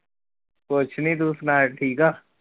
ਕੁਛ ਨਹੀਂ, ਤੂੰ ਸੁਨਾ ਠੀਕ ਆ?